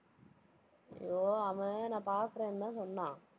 ஐயோ, அவன் நான் பார்க்கிறேன்னுதான் சொன்னான்.